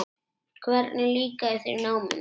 Hvernig líkaði þér í náminu?